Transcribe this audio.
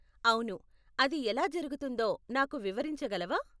అవును, అది ఎలా జరుగుతుందో నాకు వివరించగలవా?